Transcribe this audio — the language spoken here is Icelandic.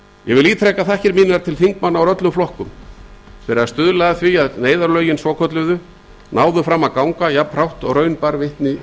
ég ítreka þakkir mínar til þingmanna úr öllum flokkum fyrir að stuðla að því að neyðarlögin svonefndu náðu fram að ganga jafnhratt og raun ber vitni í